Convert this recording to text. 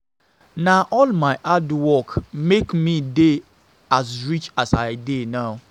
Na all my hard work make me dey as rich as I dey now